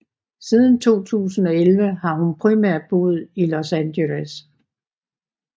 Siden 2011 har hun primært boet i Los Angeles